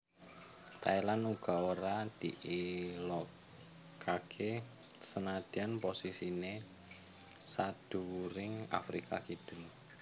Thailand uga ora diilokaké senadyan posisiné sadhuwuring Afrika Kidul